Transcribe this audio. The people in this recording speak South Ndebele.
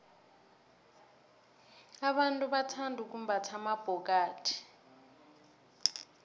abantu bathanda ukumbatha amabhokathi